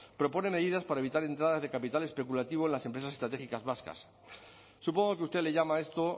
propone medidas para evitar entradas de capital especulativo en las empresas estratégicas vascas supongo que usted le llama a esto